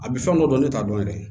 A bɛ fɛn dɔ dɔn ne t'a dɔn yɛrɛ